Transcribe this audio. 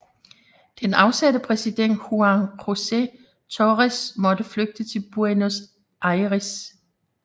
Den afsatte præsident Juan José Torres måtte flygte til Buenos Aires